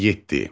Yeddi.